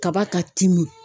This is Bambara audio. Kaba ka timin.